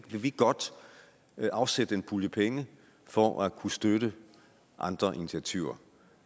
vi godt afsætte en pulje penge for at kunne støtte andre initiativer